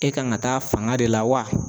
E kan ka taa fanga de la wa?